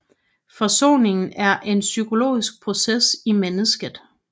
Forsoningen er en psykologisk proces i mennesket